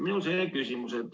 Minul on selline küsimus.